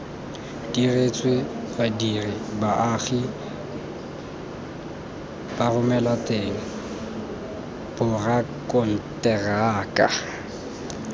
diretswe badiri baagi baromelateng borakonteraka